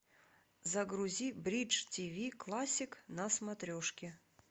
загрузи бридж тв классик на смотрешке